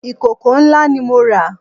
Ìkòkò ńlá ni mo rà